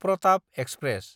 Pratap express